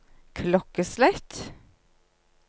klokkeslett